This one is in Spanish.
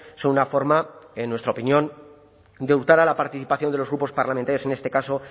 son una forma en nuestra opinión de hurtar a la participación de los grupos parlamentarios en este caso